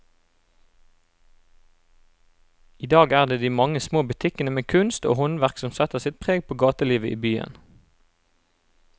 I dag er det de mange små butikkene med kunst og håndverk som setter sitt preg på gatelivet i byen.